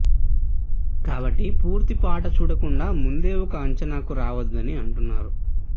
కాబట్టి పూర్తి పాట చూడకుండా ముందే ఒక అంచనాకు రావొద్దని అంటున్నారు